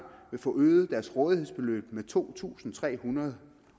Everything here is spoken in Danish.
vil få øget deres rådighedsbeløb med to tusind tre hundrede